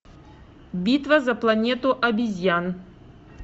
битва за планету обезьян